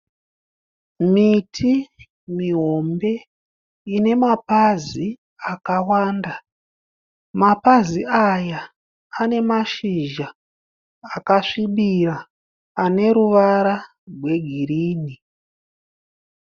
Miti mihombe ine mapazi akawanda. Mapazi aya ane mashizha akasvibira ane ruvara rwegirini.